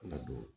Ladon